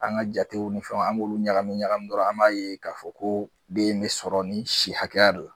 An ga jatew ni fɛnw an b'olu ɲagami ɲagami dɔrɔn an b'a ye k'a fɔ ko den in be sɔrɔ ni si hakɛya do